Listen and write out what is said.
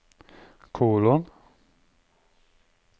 kolon